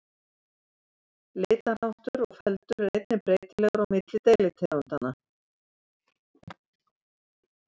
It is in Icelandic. litarháttur og feldur er einnig breytilegur á milli deilitegundanna